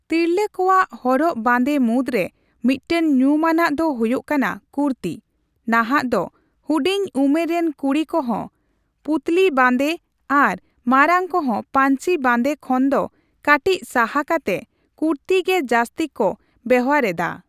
ᱛᱤᱨᱞᱟᱹ ᱠᱚᱣᱟᱜ ᱦᱚᱨᱚᱜ ᱵᱟᱸᱫᱮ ᱢᱩᱫ ᱨᱮ ᱢᱤᱫᱴᱟᱝ ᱧᱩᱢᱟᱱᱟᱜ ᱫᱚ ᱦᱩᱭᱩᱜ ᱠᱟᱱᱟ ᱠᱩᱨᱛᱤ᱾ ᱱᱟᱦᱟᱜ ᱫᱚ ᱦᱩᱰᱤᱧ ᱩᱢᱮᱨ ᱨᱮᱱ ᱠᱩᱲᱤ ᱠᱚᱦᱚᱸ ᱯᱩᱛᱞᱤ ᱵᱟᱸᱫᱮ ᱟᱨ ᱢᱟᱨᱟᱝ ᱠᱚᱦᱚᱸ ᱯᱟᱧᱪᱤ ᱵᱟᱸᱫᱮ ᱠᱷᱚᱱ ᱫᱚ ᱠᱟᱹᱴᱤᱡ ᱥᱟᱦᱟ ᱠᱟᱛᱮ ᱠᱩᱨᱛᱤ ᱜᱮ ᱡᱟᱥᱛᱤ ᱠᱚ ᱵᱮᱣᱦᱟᱨᱮᱫᱟ᱾